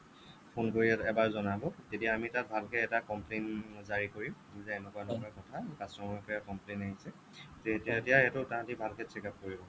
phone কৰি এবাৰ জনাব তেতিয়া আমি তাত ভালকে এটা complain জাৰি কৰিম যে এনেকুৱা এনেকুৱা কথা customer ৰ পৰা complain আহিছে তেতিয়া সেইটো তাহতি ভালকৈ check up কৰিব